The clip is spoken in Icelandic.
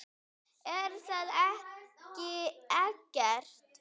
Er það ekki Eggert?